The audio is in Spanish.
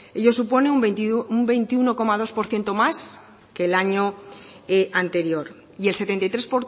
ello supone un veintiuno coma dos por ciento más que el año anterior y el setenta y tres